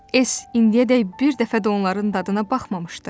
S indiyədək bir dəfə də onların dadına baxmamışdı.